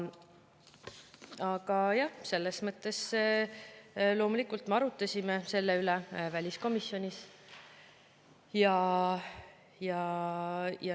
Aga jah, me loomulikult arutasime selle üle väliskomisjonis.